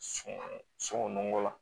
Sunɔgɔ sungun nɔgɔ la